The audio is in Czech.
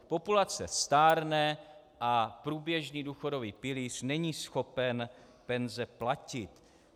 Populace stárne a průběžný důchodový pilíř není schopen penze platit.